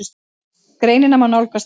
Greinina má nálgast hér